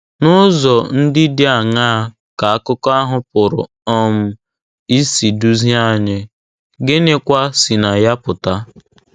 N'ụzọ ndị dị aṅaa ka akụkọ ahụ pụrụ um isi duzie anyị, gịnịkwa si na ya pụta?